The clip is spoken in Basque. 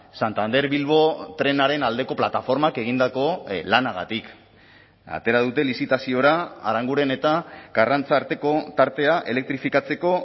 santander bilbo trenaren aldeko plataformak egindako lanagatik atera dute lizitaziora aranguren eta karrantza arteko tartea elektrifikatzeko